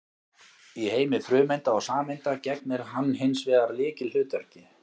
Í heimi frumeinda og sameinda gegnir hann hins vegar lykilhlutverki.